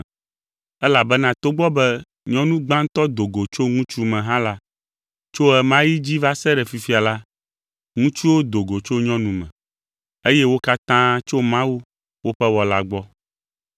Elabena togbɔ be nyɔnu gbãtɔ do go tso ŋutsu me hã la, tso ɣe ma ɣi dzi va se ɖe fifia la, ŋutsuwo do go tso nyɔnu me, eye wo katã tso Mawu, woƒe Wɔla gbɔ.